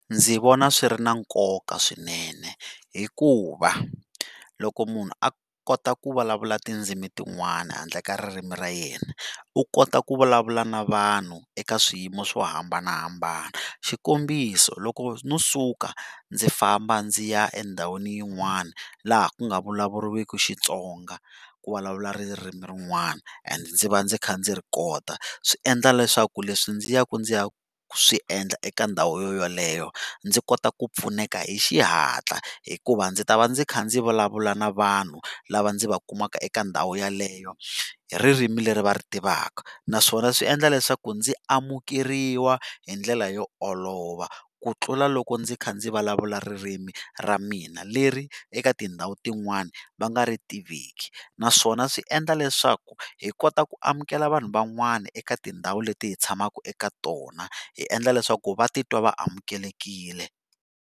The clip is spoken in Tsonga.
Ndzi vona swi ri na nkoka swinene hikuva loko munhu a kota ku vulavula tindzimi tin'wana handle ka ririmi ra yena u kota ku vulavula na vanhu eka swiyimo swo hambanahambana xikombiso loko no suka ndzi famba ndzi ya endhawini yin'wana laha ku nga vulavuriweki Xitsonga ku vulavuriwa ririmi rin'wana and ndzi va ndzi kha ndzi ri kota swi endla leswaku leswi ndzi yaka ndzi ya swiendla eka ndhawu yaleyo ndzi kota ku pfuneka hi xihatla hikuva ndzi ta va ndzi kha ndzi vulavula na vanhu lava ndzi va kumaka eka ndhawu yaleyo hi ririmi leri va ri tivaka naswona swi endla leswaku ndzi amukeriwa hi ndlela yo olova ku tlula loko ndzi kha ndzi vulavula ririmi ra mina leri eka tindhawu tin'wani va nga ri tiveki naswona swi endla leswaku hi kota ku amukela vanhu van'wana eka tindhawu leti hi tshamaka eka tona hi endla leswaku va titwa va amukelekile.